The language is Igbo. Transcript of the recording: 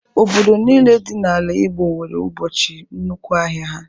Obodo niile dị n’ala Igbo nwere ụbọchị bụ nnukwu ahịa ha.